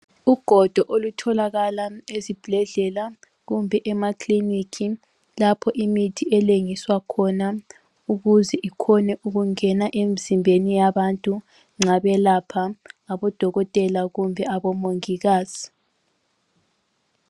Ugodo olutholakala ezibhedlela kumbe emaclinic lapho imithi elengiswa khona ukuze ikhone ukungena emzimbeni yabantu nxa belapha ngabodokotela kumbe abomongikazi.